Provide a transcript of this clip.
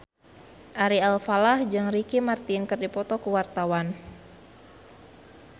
Ari Alfalah jeung Ricky Martin keur dipoto ku wartawan